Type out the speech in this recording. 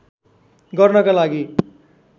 गर्नका लागि